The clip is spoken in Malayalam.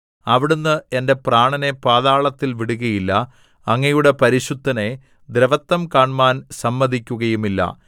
അവിടുന്ന് എന്റെ പ്രാണനെ പാതാളത്തിൽ വിടുകയില്ല അങ്ങയുടെ പരിശുദ്ധനെ ദ്രവത്വം കാണ്മാൻ സമ്മതിക്കുകയുമില്ല